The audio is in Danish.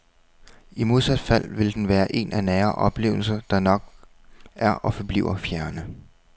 I modsat fald vil den være en af nære oplevelser, der nok er og forbliver fjerne.